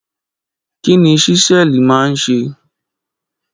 Kí ni Ṣísẹ́ẹ̀lì máa ń ṣe?